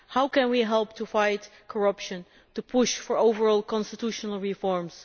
How can we help to fight corruption, to push for overall constitutional reforms?